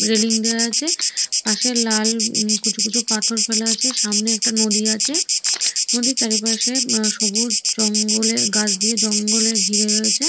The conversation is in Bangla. রেলিং দেওয়া আছে পাশে লাল ঊম কুচোকুচো পাথর ফেলা আছে সামনে একটা নদী আছে নদীর চারিপাশে আ সবুজ জঙ্গলে গাছ দিয়ে জঙ্গলে ঘিরে রয়েছে।